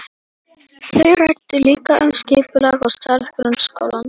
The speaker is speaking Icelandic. Þau ræddu líka um skipulag og stærð grunnskólans.